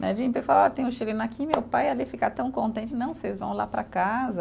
Né de falar, tem um chileno aqui, meu pai ali ficar tão contente, não, vocês vão lá para casa.